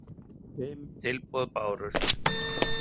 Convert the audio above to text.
Fimm tilboð bárust